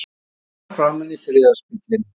Hann öskrar framan í friðarspillinn.